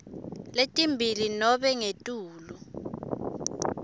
letimbili nobe ngetulu